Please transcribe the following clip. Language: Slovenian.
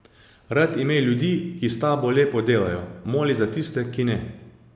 Rad imej ljudi, ki s tabo lepo delajo, moli za tiste, ki ne.